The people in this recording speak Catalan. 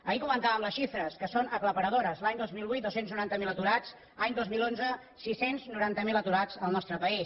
ahir comentàvem les xifres que són aclaparadores l’any dos mil vuit dos cents i noranta miler aturats any dos mil onze sis cents i noranta miler aturats al nostre país